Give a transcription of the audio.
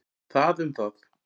Það um það.